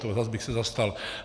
To zas bych se zastal.